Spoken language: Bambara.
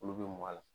Olu bɛ mɔ a la